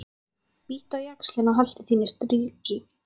Bíttu á jaxlinn og haltu þínu striki.